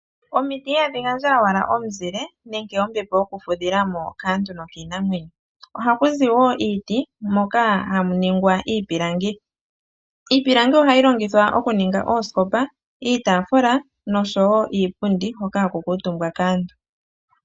Omiti ihadhi gandja owala omuzile nenge ombepo yokufudhila mo kaantu nokiinamwenyo, ohaku zi wo iiti moka hamu ningwa iipilangi. Iipilangi ohayi longithwa okuninga oosikopa, iitaafula noshowo iipundi hoka haku kuutumbwa kaantu.